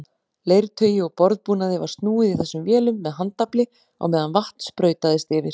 Leirtaui og borðbúnaði var snúið í þessum vélum með handafli á meðan vatn sprautaðist yfir.